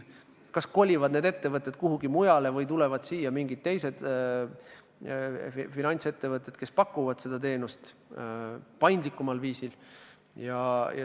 Kas kolivad need ettevõtted kuhugi mujale või tulevad siia teised finantsettevõtted, kes pakuvad seda teenust paindlikumal viisil.